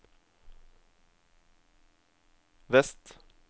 vest